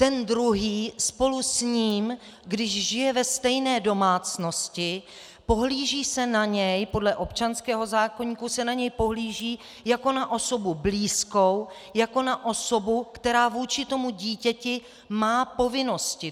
Ten druhý spolu s ním, když žije ve stejné domácnosti, pohlíží se na něj - podle občanského zákoníku se na něj pohlíží jako na osobu blízkou, jako na osobu, která vůči tomu dítěti má povinnosti.